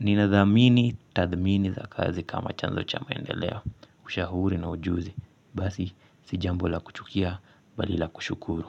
ninathamini tathmini za kazi kama chanzo cha maendeleo ushauri na ujuzi basi si jambo la kuchukia bali la kushukuru.